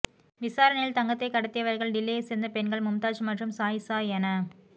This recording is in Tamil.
விசாரணையில் தங்கத்தை கடத்தியவர்கள் டில்லியை சேர்ந்த பெண்கள் மும்தாஜ் மற்றும் சாயிசா என